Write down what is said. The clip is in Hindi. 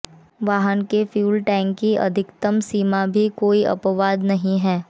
वाहन के फ्यूल टैंक की अधिकतम सीमा भी कोई अपवाद नहीं है